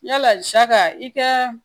Yala saga i ka